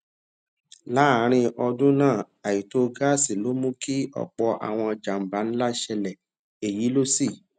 láàárín ọdún náà àìtó gásì ló mú kí òpò àwọn jàǹbá ńlá ṣẹlè èyí ló sì